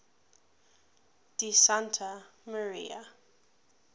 di santa maria